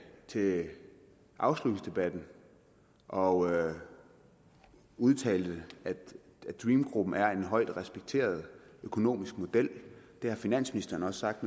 ved afslutningsdebatten og udtalte at dream gruppen er en højt respekteret økonomisk model og det har finansministeren også sagt